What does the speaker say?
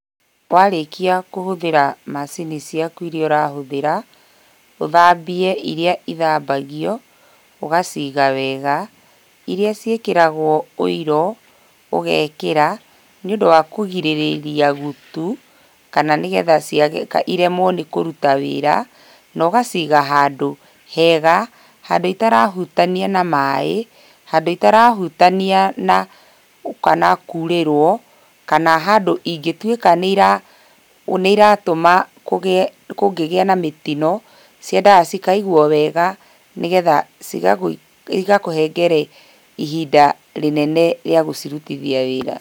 Warĩkia kũhũthĩra macini ciaku iria ũrahũthĩra ũthambie iria ithambagio ũgaciga wega iria ciĩkĩragwo ũiro ũgekĩra nĩũndũ wa kũgirĩrĩria gutu kana ciremwo nĩ kũruta wĩra na ũgaciga handũ hega handũ itarahũtania na maaĩ handũ itara hutania na kurĩrwo kana handũ ingĩtuĩka nĩiratũma kũgĩe na mĩtino, ciendaga cikaigwo wega nĩgetha cigakũhengere ihinda inene rĩa gũcirutithia wĩra.